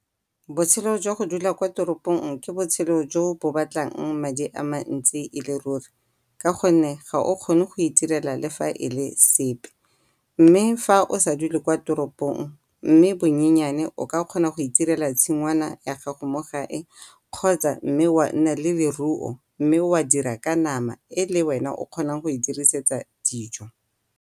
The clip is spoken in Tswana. Botshelo jwa go dula kwa toropong ke botshelo jo bo batlang madi a mantsi e le ruri ka gonne ga o kgone go itirela le fa e le sepe mme fa o sa dule kwa toropong mme bonyenyane o ka kgona go itirela tshingwana ya gago mo gae kgotsa mme wa nna le leruo mme wa dira ka nama e le wena o kgonang go e dirisetsa dijo.